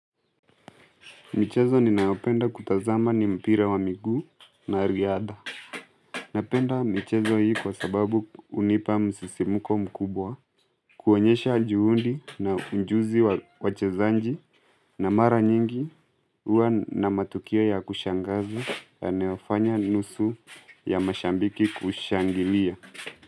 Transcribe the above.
Michezo ninaopenda kutazama ni mpira wa miguu na riadha. Napenda michezo hii kwa sababu hunipa msisimuko mkubwa. Kuonyesha juhundi na ujuzi wachezaji na mara nyingi huwa na matukio ya kushangaza yanayofanya nusu ya mashabiki kushangilia.